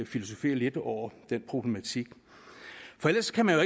filosofere lidt over den problematik for ellers kan man jo